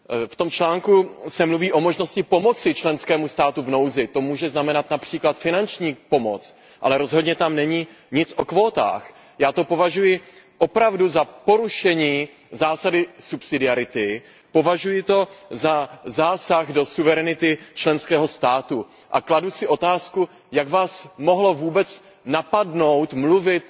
V tom článku se mluví o možnosti pomoci členskému státu v nouzi, to může znamenat například finanční pomoc, ale rozhodně tam není nic o kvótách. Já to považuji opravdu za porušení zásady subsidiarity, považuji to za zásah do suverenity členského státu a kladu si otázku Jak vás mohlo vůbec napadnout mluvit